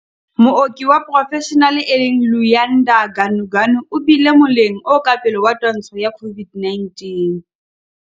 Mooki wa porofeshenale e leng Luyanda Ganuganu o bile moleng o ka pele wa twantsho ya COVID-19